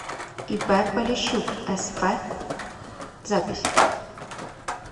ип полищук сф запись